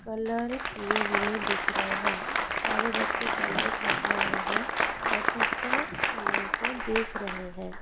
Colour किए हुए दिख रहे हैं। सारे बच्चे कलर कर रहे हैं और टीचर उन लोगों को देख रहे हैं।